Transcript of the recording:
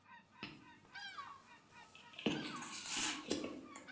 Helga: Fæst fjármagn í það?